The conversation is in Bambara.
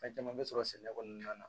Fɛn caman bɛ sɔrɔ sɛnɛ kɔnɔna na